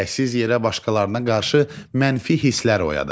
Gərəksiz yerə başqalarına qarşı mənfi hisslər oyadar.